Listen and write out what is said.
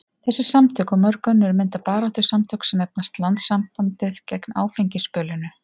Þessi samtök og mörg önnur mynda baráttusamtök sem nefnast Landssambandið gegn áfengisbölinu.